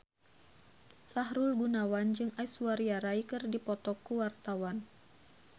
Sahrul Gunawan jeung Aishwarya Rai keur dipoto ku wartawan